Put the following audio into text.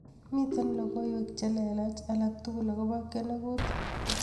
Miten logoiwek chelelach alatukul akobo kiyengut